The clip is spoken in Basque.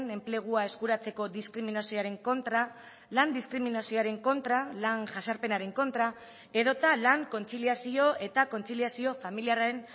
enplegua eskuratzeko diskriminazioaren kontra lan diskriminazioaren kontra lan jazarpenaren kontra edota lan kontziliazio eta kontziliazio familiarren